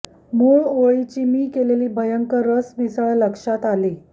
मुळ ऒळी ची मी केलेली भयंकर सरमिसळ लक्षात आली